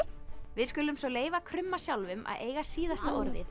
við skulum svo leyfa krumma sjálfum að eiga síðasta orðið